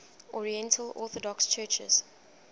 oriental orthodox churches